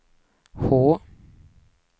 H